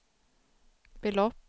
belopp